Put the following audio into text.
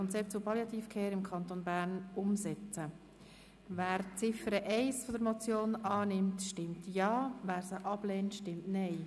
Wer die Ziffer 1 der Motion annimmt, stimmt Ja, wer diese ablehnt, stimmt Nein.